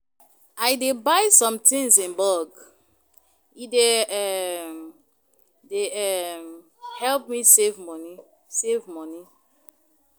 I dey buy sometins in bulk, e dey um e dey Um help me save moni save moni.